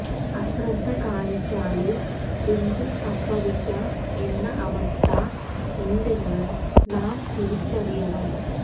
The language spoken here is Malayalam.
അശ്രദ്ധ കാണിച്ചാല് എന്തും സംഭവിക്കാം എന്ന അവസ്ഥ ഉണ്ടെന്ന് നാം തിരിച്ചറിയണം